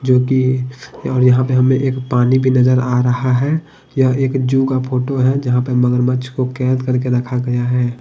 जो कि और यहां पे हमें एक पानी भी नजर आ रहा है यह एक जू का फोटो है जहां पर मगरमच्छ को कैद करके रखा गया है।